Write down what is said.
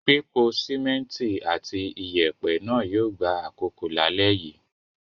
Pípo sìmẹ́ńtì àti ìyẹ̀pẹ̀ náà yóò gba àkókò lálẹ́ yìí.